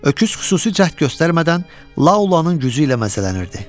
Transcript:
Öküz xüsusi cəhd göstərmədən Laolanın gücü ilə məzələnirdi.